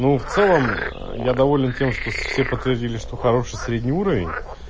ну в целом я доволен тем что все подтвердили что хороший средний уровень